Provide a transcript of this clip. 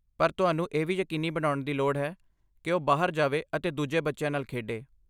ਪਰ ਤੁਹਾਨੂੰ ਇਹ ਵੀ ਯਕੀਨੀ ਬਣਾਉਣ ਦੀ ਲੋੜ ਹੈ ਕਿ ਉਹ ਬਾਹਰ ਜਾਵੇ ਅਤੇ ਦੂਜੇ ਬੱਚਿਆਂ ਨਾਲ ਖੇਡੇ।